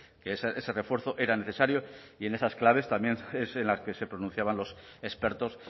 que ese refuerzo era necesario y en esas claves también es en las que se pronunciaban los expertos